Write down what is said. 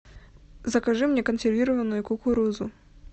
закажи мне консервированную кукурузу